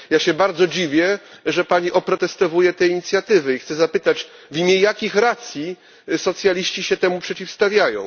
Ja się bardzo dziwię, że Pani oprotestowuje te inicjatywy i chcę zapytać w imię jakich racji socjaliści się temu przeciwstawiają?